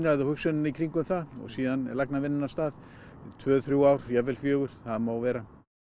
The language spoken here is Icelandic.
eða hugsunina í kringum það og síðan lagnavinnan af stað tvö þrjú ár jafnvel fjögur það má vera